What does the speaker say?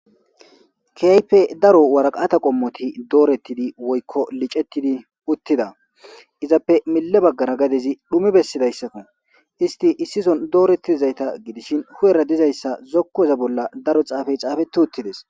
keaype daro waraqata qommoti doorettidi woykko licettidi uttida izappe mille baggara gadezi dhumi bessidayssako isti issison doorettizayta gidishin hu7era dizayssa zokko eza bolla daro xaafey xaafe tu uttides